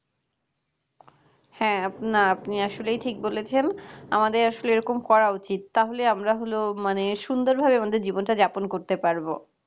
হ্যাঁ না আপনি আসলে ঠিকই বলেছেন আমাদের আসলে এরকম করা উচিত তাহলে আমরা হলো মানে সুন্দরভাবে আমাদের জীবনটা যাপন করতে পারব